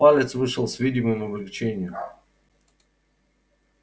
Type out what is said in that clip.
палец вышел с видимым облегчением